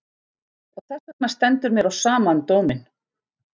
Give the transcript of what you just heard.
Og þessvegna stendur mér á sama um dóminn.